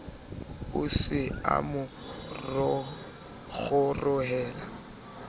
o se a mo kgorohela